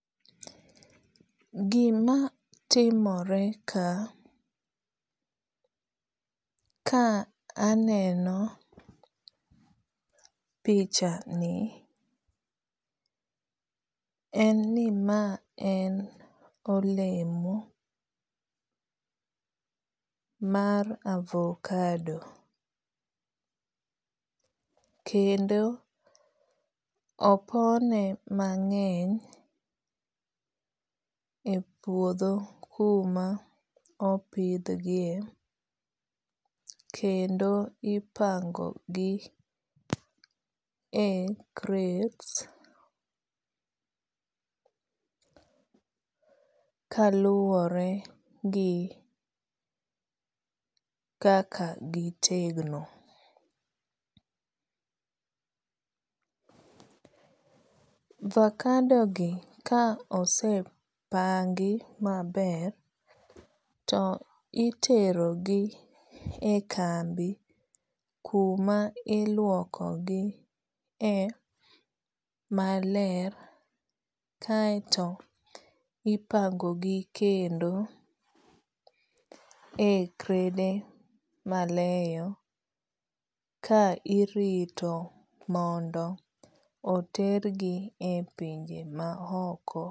Gima timore ka ka aneno pichani en ni ma en olemo mar avocado. Kendo opone mang'eny e puodho kuma opidh gie kendo ipango gi e krets kaluwore gi kaka gitegno. Avacado gi ka osepangi maber to itero gi e kambi kuma iluoko gi e maler kaeto ipango gi kendo e krede maleyo ka irito mondo oter gi e pinje ma oko.